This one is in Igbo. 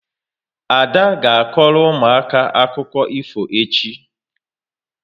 Ada ga akoro ụmụaka akụkọ ifo echi